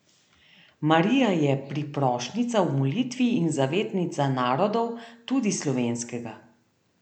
Marija je priprošnjica v molitvi in zavetnica narodov, tudi slovenskega.